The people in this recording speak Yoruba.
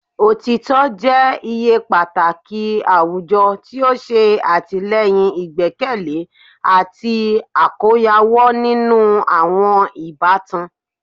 Otitọ jẹ iye pataki awujọ ti o ṣe atilẹyin igbẹkẹle ati akoyawo ninu awọn ibatan